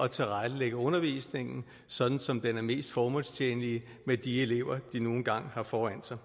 at tilrettelægge undervisningen sådan som den er mest formålstjenlig med de elever de nu engang har foran sig